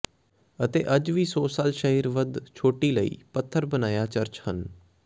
ਅਤੇ ਅਜੇ ਵੀ ਸੌ ਸਾਲ ਸ਼ਹਿਰ ਵੱਧ ਛੋਟੀ ਲਈ ਪੱਥਰ ਬਣਾਇਆ ਚਰਚ ਹਨ